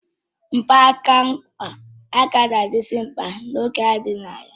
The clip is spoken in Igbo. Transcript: Mgbanaka nkwa agaghịzi adị mkpa n'oge na-adịghị anya